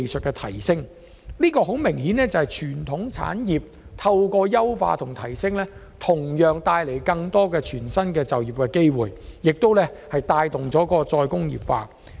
這個例子清楚顯示，傳統產業的優化和提升同樣可帶來全新的就業機會，並且帶動再工業化。